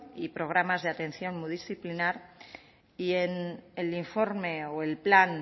y programas de atención multidisciplinar y en el informe o el plan